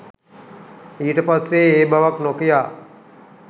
ඊට පස්සේ ඒ බවක් නොකියා